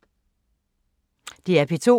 DR P2